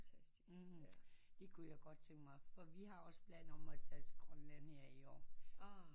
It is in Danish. Det kunne jeg godt tænke mig for vi har også plan om at tage til Grønland